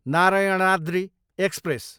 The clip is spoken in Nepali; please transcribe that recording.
नारायणाद्रि एक्सप्रेस